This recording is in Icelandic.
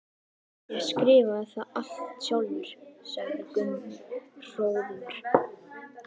Ég skrifaði það allt sjálfur, sagði Gunni hróðugur.